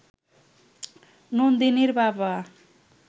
নন্দিনীর বাবা